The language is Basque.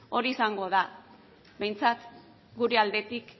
hori izango da behintzat gure aldetik